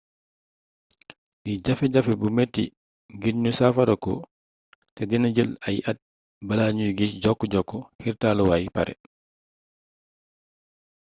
lii jafe jafe bu metti ngir ñu saafarako te dina jël ay at bala ñu giss jokk-jokk xiirtalukaay pare